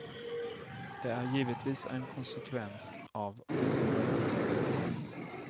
Det är givetvis en konsekvens av orutinen.